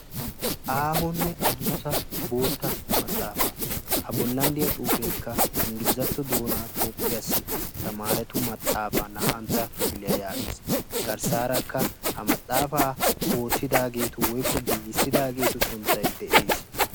aahonne addussa boota maxaafa a bollan diya xuufekka ingglizatto doona toophiyassi tamaretu maxaafa naa''antto kifiliyaa yaagees. garssarakka ha maxaafa oottidaageetu woykko giigissidaageetu sunttay de'ees.